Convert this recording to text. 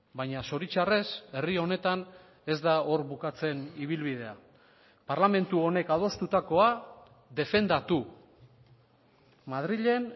baina zoritxarrez herri honetan ez da hor bukatzen ibilbidea parlamentu honek adostutakoa defendatu madrilen